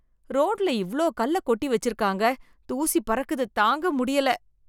ரோட்ல இவ்ளோ கல்ல கொட்டி வெச்சு இருக்காங்க, தூசி பறக்குது, தாங்க முடியல.